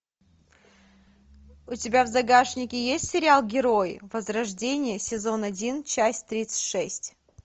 у тебя в загашнике есть сериал герои возрождение сезон один часть тридцать шесть